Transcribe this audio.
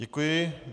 Děkuji.